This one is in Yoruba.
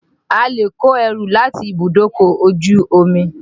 A lè kó ẹrù láti ibùdókọ̀ ojú omi.